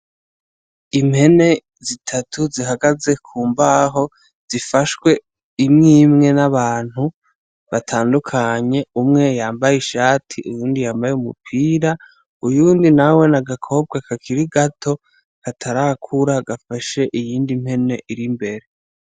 Impene zitatu zihagaze ku mbaho zifashwe imwe imwe n'abantu batandukanye, umwe yambaye ishati uyundi yambaye umupira, uyundi nawe ni agakobwa kakiri gato, katarakura gafashe iyindi mpene iri imbere.